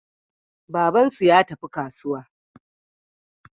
Babansu ya tafi kasuwa.